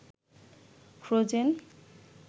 frozen